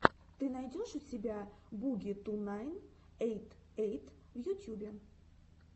ты найдешь у себя буги ту найн эйт эйт в ютьюбе